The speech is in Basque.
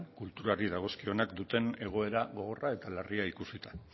kulturari dagozkionak duten egoera gogorra eta larria ikusita